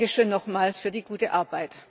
Dankeschön nochmals für die gute Arbeit!